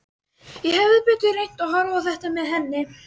Ég hefði betur reynt að horfa á þetta með henni.